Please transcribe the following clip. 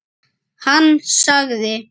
Hann sagði